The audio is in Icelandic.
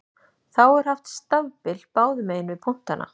Þá er haft stafbil báðum megin við punktana.